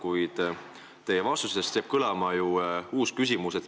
Kuid teie vastustest jääb kõlama ju uus küsimus.